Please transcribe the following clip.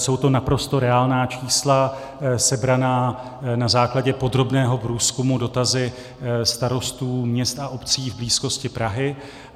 Jsou to naprosto reálná čísla sebraná na základě podrobného průzkumu, dotazů starostů měst a obcí v blízkosti Prahy.